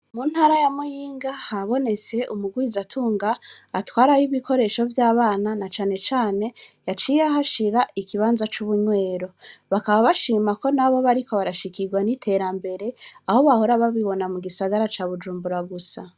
Mu ntara ya muyinga habonetse umugwizatunga atwarayo ibikoresho vy'abana na cane cane yaciye ahashira ikibanza c'ubunywero, bakaba bashima ko nabo bariko barashikigwa n'iterambere aho bahora babibona mu gisagara ca Bujumbura gusa.